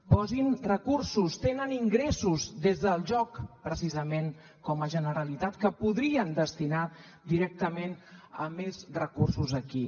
posin recursos tenen ingressos des del joc precisament com a generalitat que podrien destinar directament a més recursos aquí